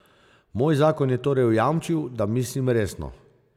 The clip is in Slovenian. Moj zakon je torej jamčil, da mislim resno.